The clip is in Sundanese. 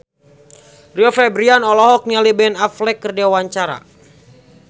Rio Febrian olohok ningali Ben Affleck keur diwawancara